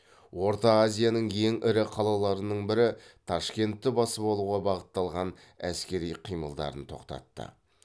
орта азияның ең ірі қалаларының бірі ташкентті басып алуға бағытталған әскери қимылдарын тоқтатты